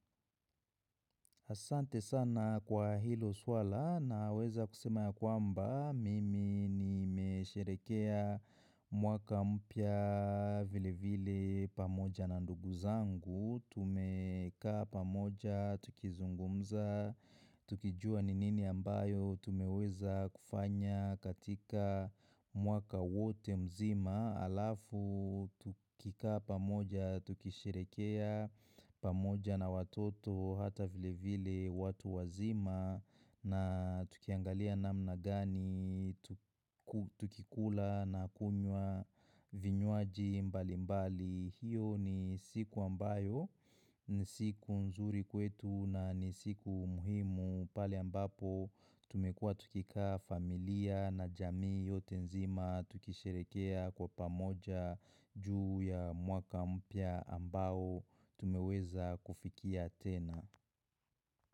Asante sana kwa hilo suala. Naweza kusema ya kwamba mimi nimesherehekea mwaka mpya vilevile pamoja na ndugu zangu. Tumekaa pamoja, tukizungumza, tukijua ni nini ambayo tumeweza kufanya katika mwaka wote mzima. Alafu, tukikaa pamoja, tukisherehekea pamoja na watoto hata vilevile watu wazima na tukiangalia namna gani, tukikula na kunywa vinywaji mbalimbali. Hiyo ni siku ambayo ni siku nzuri kwetu na ni siku muhimu pale ambapo tumekuwa tukikaa familia na jamii yote nzima tukisherehekea kwa pamoja juu ya mwaka mpya ambao tumeweza kufikia tena.